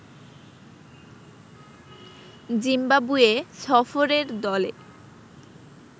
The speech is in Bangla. জিম্বাবুয়ে সফরের দলে